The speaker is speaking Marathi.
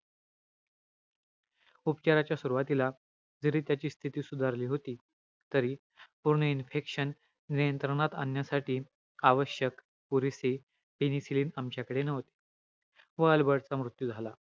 उपचाराच्या सुरवातीला जरी त्याची स्थिती सुधारली होती. तरी पूर्ण infection नियंत्रणात आणण्यासाठी आवश्यक पुरेसे, penicilin आमच्याकडे नव्हते. व अल्बर्ट चा मृत्यू झाला.